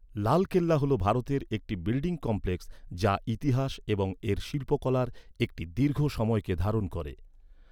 লাল কেল্লা হল ভারতের একটি বিল্ডিং কমপ্লেক্স যা ইতিহাস এবং এর শিল্পকলার একটি দীর্ঘ সময়কে ধারণ করে।